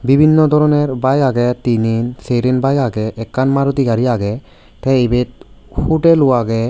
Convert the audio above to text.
bibinno doroner baek agey tinen seren baek agey ekkan Maruti gari agey tey ebet hutel ow agey.